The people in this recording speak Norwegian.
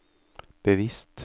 bevisst